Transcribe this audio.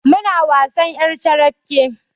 Muna wasan ƴar carabke